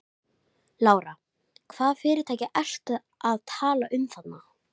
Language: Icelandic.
Lára: Hvaða fyrirtæki ertu að tala um þarna?